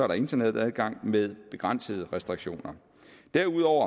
der internetadgang med begrænsede restriktioner derudover